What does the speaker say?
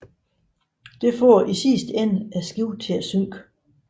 Det får i sidste ende skibet til at synke